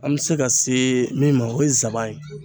An bɛ se ka se min ma o ye nsaban ye.